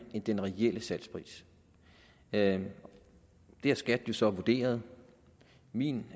end den reelle salgspris det har skat jo så vurderet min